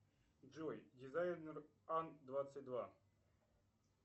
джой дизайнер ан двадцать два